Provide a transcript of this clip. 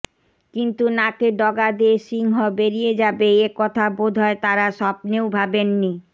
কিন্তু নাকের ডগা দিয়ে সিংহ বেরিয়ে যাবে এ কথা বোধহয় তারা স্বপ্নেও ভাবেননি